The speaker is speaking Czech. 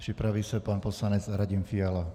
Připraví se pan poslanec Radim Fiala.